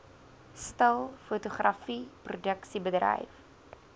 stil fotografie produksiebedryf